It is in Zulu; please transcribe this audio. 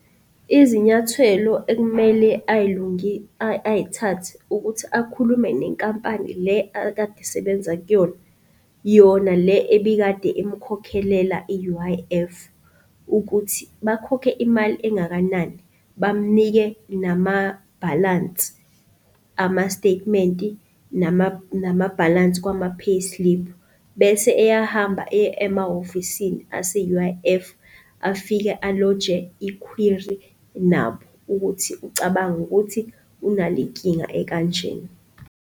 Izinyathelo ekumele ayithathe ukuthi akhulume nenkampani le akade esebenza kuyona. Yona le ebikade imkhokhelela i-U_I_F ukuthi bakhokhe imali engakanani, bamnike namabhalansi, ama-statementi nama-bhalansi kwama-payslip. Bese eyahamba eya emahhovisini ase-U_I_F afike aloje i-query nabo ukuthi ucabanga ukuthi unalenkinga ekanje.